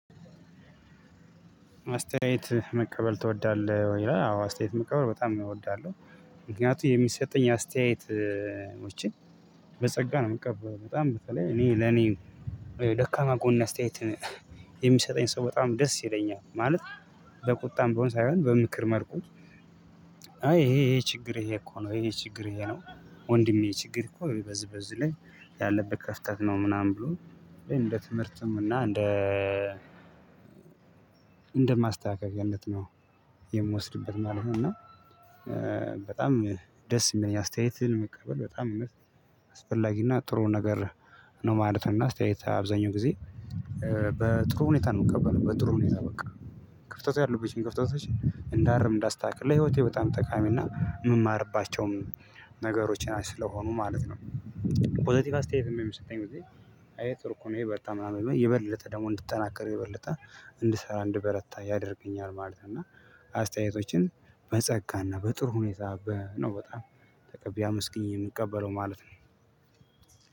አስተያየት መቀበል ትወዳለህ ወይ? ይላል አዎ አስተያየት መቀበል በጣም እወዳለው። ምክንያቱ የሚሰጠኝ አስተያየቶችን በጸጋ ነው የምቀበለው በጣም በተለይ እኔ ለኔ ደካማ ጎን አስተያየት የሚሰጠኝ ሰው በጣም ደስ ይለኛል ማለት። በቁጣም ብሆን ሳይሆን በምክር መልኩ አይ ይሄ ይሄ ችግር ይሄ እኮ ነው ይሄ ችግር ይሄ ነው። ወንድሜ ችግር እኮ በዚህ በዚህ ላይ ያለብህ ክፍተት ነው ምናምን ብሎ እንደ ትምህርትም እና እንደ እንደ ማስተካከልነት ነው የምወስድበት ማለት ነው። እና በጣም ደስ የሚለኝ አስተያየትን መቀበል በጣም አስፈላጊ እና ጥሩ ነገር ነው ማለት ነው። እና አስተያየት አብዛኛው ጊዜ በጥሩ ሁኔታ ነው የምቀበለው በጥሩ ሁኔታ በቃ ክፍተት ያለብኝን ክፍተቶች እንዳርም እንዳስተካክል ለህይወቴ በጣም ጠቃሚ እና የምማርባቸውም ነገሮቼ ናቸው ስለሆኑ ማለት ነው። ፖሰቲቭ አስተያየት የሚሰጠኝ ጊዜ ይሄ ጥሩ እኮ ነው አይ በርታ ምናምን ይበለጠ ደግሞ እንድጠናከር ይበለጠ እንድሰራ እንድበረታ ያደርገኛል ማለት ነው። እና አስተያየቶችን በጸጋ እና በጥሩ ሁኔታ በ ነው በጣም ተቀብዬ አመስግኜ የምቀበለው ማለት ነው።